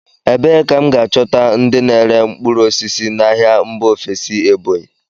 Ebee ka m ga-achọta ndị na-ere mkpụrụ osisi n'ahịa mba ofesi Ebonyi?